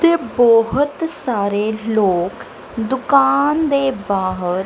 ਤੇ ਬਹੁਤ ਸਾਰੇ ਲੋਕ ਦੁਕਾਨ ਦੇ ਬਾਹਰ--